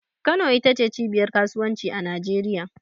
Kano ita ce cibiyar kasuwanci a Najeriya.